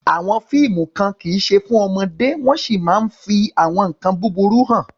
Àwọn fíìmù kan kì í ṣe fún ọmọdé wọ́n sì máa ń fi àwọn nkan burúkú hàn.